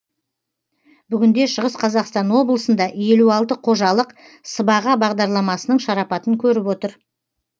бүгінде шығыс қазақстан облысында елу алты қожалық сыбаға бағдарламасының шарапатын көріп отыр